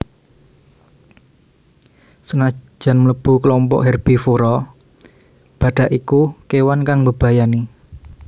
Sanajan mlebu klompok herbivora badhak iku kewan kang mbebayani